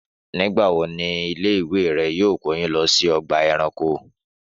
Nígbà wo ni ilé ìwé rẹ yóò kó yín lọ sí ọgbà ẹranko?